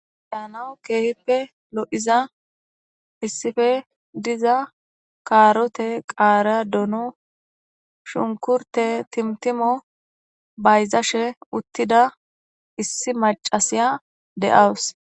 yanaou keehippe lo7iza issife diza kaarote qaara dono shunkurte timtimo bayzashe uttida issi macasiya de7awus